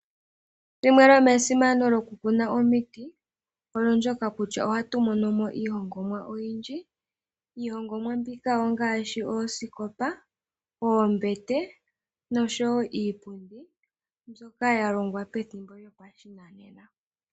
Limwe lyomesimano lyokukuna omiti olyo ndyoka kutya ohatu mono mo iihongomwa oyindji. Iihongomwa mbika ongaashi oosikopa, oombete, nosho wo iipundi mbyoka ya longwa pethimbo lyopashinanena.